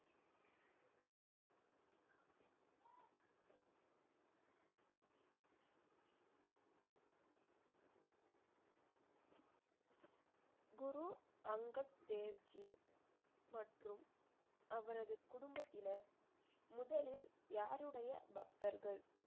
குரு அங்கத் தேவ் ஜி மற்றும் அவரது குடும்பத்தினர் முதலில் யாருடைய பக்தர்கள்?